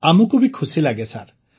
ଆମକୁ ବି ଖୁସି ଲାଗେ ସାର୍